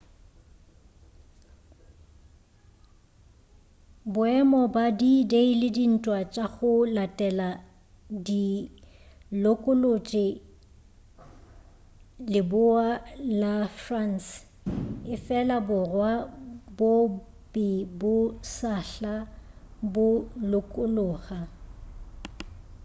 boemo ba d-day le dintwa tša go latela di lokolotše leboa la france efela borwa bo be bo sahla bo lokologa